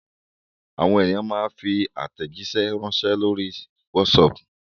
Àwọn ènìyàn máa ń fi àtẹ̀jíṣẹ́ ránṣẹ́ lórí WhatsApp.